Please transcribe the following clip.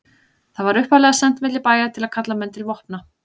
Það var upphaflega sent milli bæja til að kalla menn til vopna.